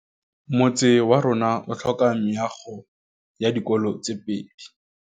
Motse warona o tlhoka meago ya dikolô tse pedi.